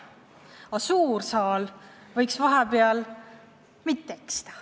Aga suur saal võiks mitte eksida.